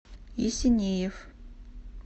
есенеев